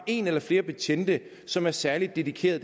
en eller flere betjente som er særligt dedikeret